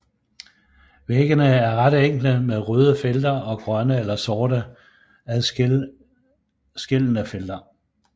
Væggene er ret enkle med røde felter og grønne eller sorte adskillende felter